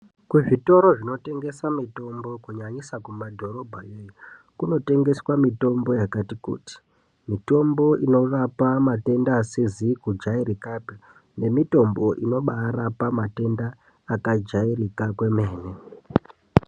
Kuzvitoro zvinotengesa mitombo kunyanyisa kumadhorobhayo iyo kunotengeswa mitombo yakati kuti. Mitombo inorapa matenda asizi kujairikapi, nemitombo inobarapa matenda akajairika kwemene.